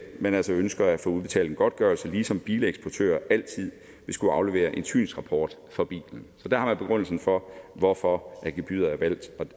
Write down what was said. man altså ønsker at få udbetalt en godtgørelse ligesom bileksportører altid vil skulle aflevere en synsrapport for bilen så der har man begrundelsen for hvorfor gebyret er valgt